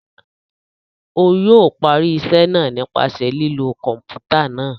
O yóò parí iṣẹ náà nípasẹ̀ lilo kọnputa náà